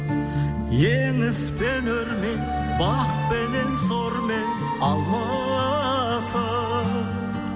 еңіспен өрмен бақпенен зормен алмасып